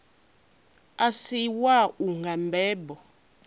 a si wau nga mbebo